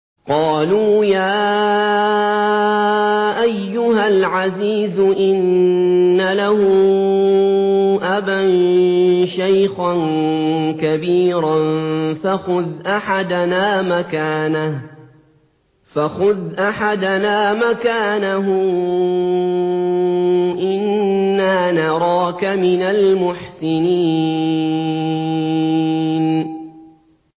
قَالُوا يَا أَيُّهَا الْعَزِيزُ إِنَّ لَهُ أَبًا شَيْخًا كَبِيرًا فَخُذْ أَحَدَنَا مَكَانَهُ ۖ إِنَّا نَرَاكَ مِنَ الْمُحْسِنِينَ